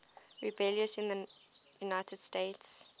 rebellions in the united states